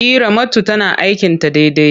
E, Ramatu tana aikin ta daidai.